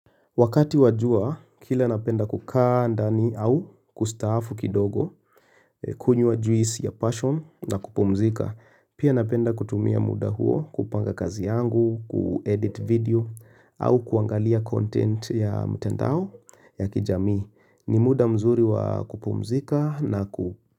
Wakati wajua, kila napenda kukaa ndani au kustafu kidogo, kunyua juisi ya passion na kupumzika. Pia napenda kutumia muda huo kupanga kazi yangu, ku-edit video, au kuangalia content ya mtandao ya kijamii. Ni muda mzuri wa kupumzika na ku.